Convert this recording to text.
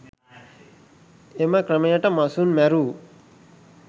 එම ක්‍රමයට මසුන් මැරූ